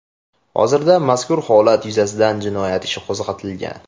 Hozirda mazkur holat yuzasidan jinoyat ishi qo‘zg‘atilgan.